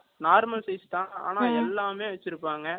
normal size தான். ஆனால், எல்லாமே வச்சிருப்பாங்க